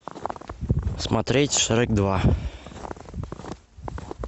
смотреть шрек два